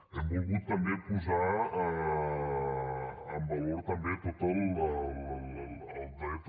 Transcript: hem volgut també posar en valor tot el dret